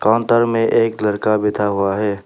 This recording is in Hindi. काउंटर में एक लड़का बैठा हुआ है।